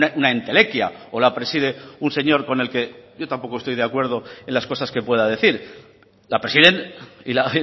una entelequia o la preside un señor con el que yo tampoco estoy de acuerdo en las cosas que pueda decir la presiden y la